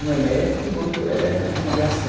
Um é médico e o outro é mexe com aviação.